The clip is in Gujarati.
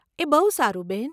એ બહુ સારું, બહેન.